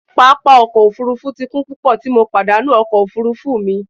Papa ọkọ ofurufu ti kun pupọ ti MO padanu ọkọ ofurufu mi.